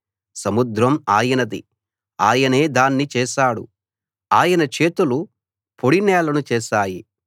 సముద్రం ఆయనది ఆయనే దాన్ని చేశాడు ఆయన చేతులు పొడి నేలను చేశాయి